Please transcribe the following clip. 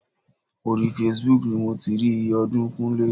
Orí Facebook ni mo ti rí iye ọdún Kúnlé.